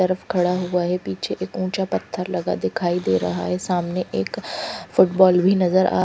तरफ खड़ा हुआ यह पीछे ऊँचा एक पथर लगा दिखाई दे रहा है सामने एक फुटबोल भी नजर आ--